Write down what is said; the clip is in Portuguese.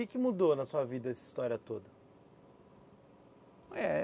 E o que mudou na sua vida, essa história toda? Eh